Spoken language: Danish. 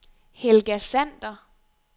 Helga Sander